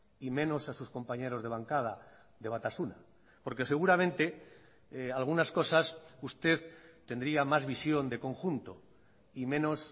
y menos a sus compañeros de bancada de batasuna porque seguramente algunas cosas usted tendría más visión de conjunto y menos